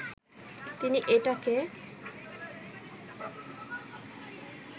তিনি এটাকে